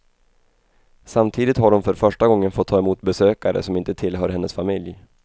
Samtidigt har hon för första gången fått ta emot besökare som inte tillhör hennes familj.